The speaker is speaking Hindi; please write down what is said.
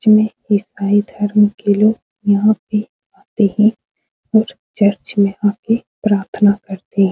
जिन इसाई धर्म के लोग यहाँ पे आते हैं और चर्च में आ के प्रार्थना करते हैं।